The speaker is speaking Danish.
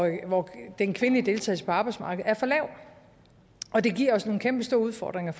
hvor den kvindelige deltagelse på arbejdsmarkedet er for lav og det giver os nogle kæmpestore udfordringer